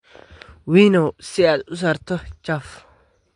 Winnow si aad u saarto chuff